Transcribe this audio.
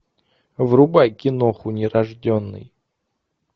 врубай киноху нерожденный